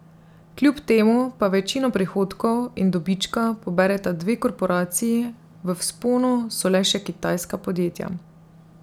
Kljub temu pa večino prihodkov in dobička pobereta dve korporaciji, v vzponu so le še kitajska podjetja.